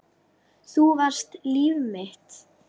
Þú varst líf mitt.